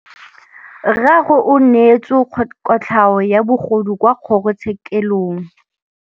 Rragwe o neetswe kotlhaô ya bogodu kwa kgoro tshêkêlông.